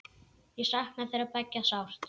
Ég sakna þeirra beggja sárt.